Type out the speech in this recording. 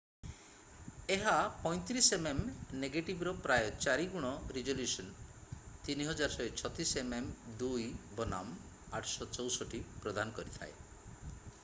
ଏହା 35 mm ନେଗେଟିଭ୍‌ର ପ୍ରାୟ ଚାରି ଗୁଣ ରିଜୋଲ୍ୟୁସନ୍ 3136 mm2 ବନାମ 864 ପ୍ରଦାନ କରିଥାଏ।